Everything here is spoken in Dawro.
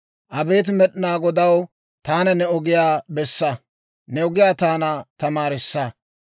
Abeet Med'inaa Godaw, taana ne ogiyaa bessa; ne ogiyaa taana tamaarissa.